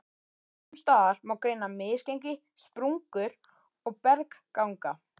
Sums staðar má greina misgengi, sprungur og bergganga.